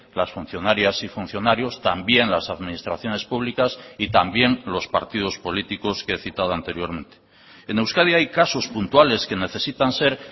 las funcionarias y funcionarios también las administraciones públicas y también los partidos políticos que he citado anteriormente en euskadi hay casos puntuales que necesitan ser